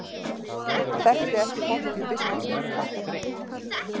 Þekkti ekki fortíð biskupsins